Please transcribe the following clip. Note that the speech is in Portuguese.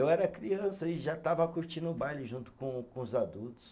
Eu era criança e já estava curtindo o baile junto com com os adultos.